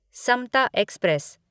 Samta express